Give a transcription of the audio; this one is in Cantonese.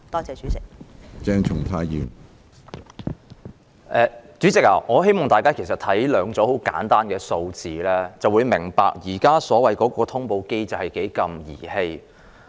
主席，大家看看兩組十分簡單的數字，便會明白現時所謂的通報機制多麼兒戲。